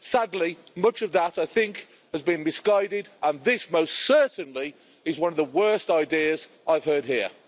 Sadly, much of that, I think, has been misguided and this most certainly is one of the worst ideas I've heard here.